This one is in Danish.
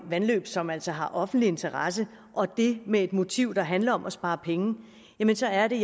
vandløb som altså har offentlig interesse og det med et motiv der handler om at spare penge så er det